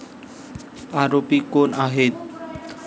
आरोपी कोण आहेत?